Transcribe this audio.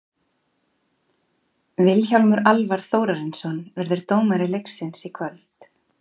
Vilhjálmur Alvar Þórarinsson verður dómari leiksins í kvöld.